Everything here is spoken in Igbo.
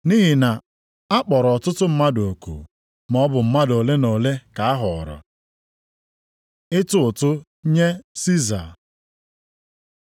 “Nʼihi na akpọrọ ọtụtụ mmadụ oku, maọbụ mmadụ ole na ole ka a họọrọ.” Ịtụ ụtụ nye Siza